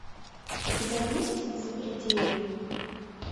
у тебя есть запределье